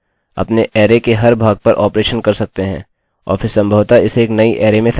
यद्यपि मैं आपको दर्शाने जा रहा हूँ कि कैसे एक सरल तरीके से हेरफेर करें